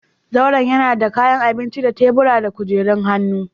Zauren yana da kayan abinci da tebura da kujerun hannu.